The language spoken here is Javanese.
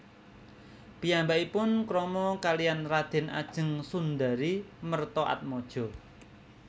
Piyambakipun krama kaliyan Raden Ajeng Sundari Mertoatmadjo